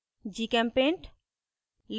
gchempaint